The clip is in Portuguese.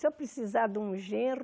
Se eu precisar de um genro,